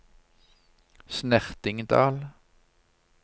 Snertingdal